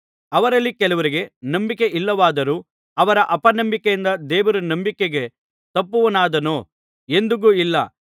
ಅವರಲ್ಲಿ ಕೆಲವರಿಗೆ ನಂಬಿಕೆ ಇರಲಿಲ್ಲವಾದರೂ ಅವರ ಅಪನಂಬಿಕೆಯಿಂದ ದೇವರು ನಂಬಿಕೆಗೆ ತಪ್ಪುವವನಾದಾನೋ ಎಂದಿಗೂ ಇಲ್ಲ